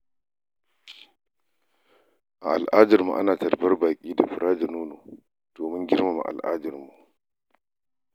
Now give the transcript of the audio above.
A al’adarmu, ana tarbar baƙi da fura da nono domin girmama al'adarmu.